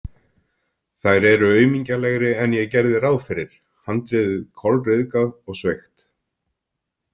Þær eru aumingjalegri en ég gerði ráð fyrir, handriðið kolryðgað og sveigt.